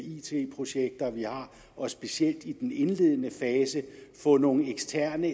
it projekter vi har og specielt i den indledende fase få nogle eksterne